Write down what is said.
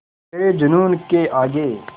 तेरे जूनून के आगे